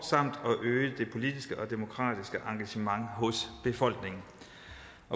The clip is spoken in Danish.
og øge det politiske og demokratiske engagement hos befolkningen